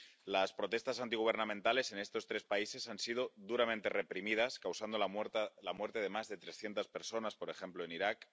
Las protestas antigubernamentales en estos tres países han sido duramente reprimidas, causando la muerte de más de trescientas personas, por ejemplo, en Irak.